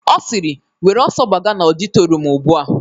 Ọ sịrị, "Were ọsọ gbaga n'ọditorium ugbu a